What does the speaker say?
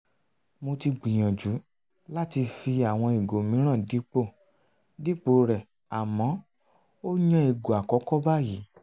mo ti gbìyànjú láti fi àwọn ìgò mìíràn dípò dípò rẹ̀ àmọ́ ó yàn ìgò akọkọ báyìí